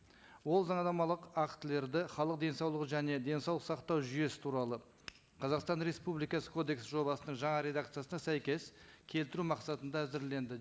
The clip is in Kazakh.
ол заңнамалық актілерді халық денсаулығы және денсаулық сақтау жүйесі туралы қазақстан республикасы кодексі жобасының жаңа редакциясына сәйкес келтіру мақсатында әзірленді